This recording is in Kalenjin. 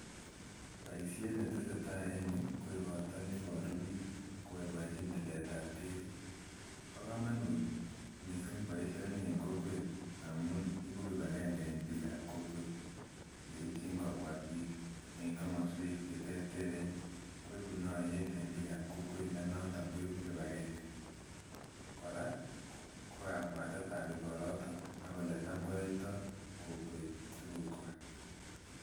Boisiet ne tesetai en yu ko ikorta neiboru biik koboiboenjin tiletab kekit, bo komonut mising boisioni en kokwet amun ibu kibakenge en biikab kokwet, yeityin kobwa biik en komoswek cheterteren koibu noyeet en biikab kokwet ne noto koibu kibakenge, kora kokabwatetab ikoroton ak oletam koyoito kokwet tugukwa.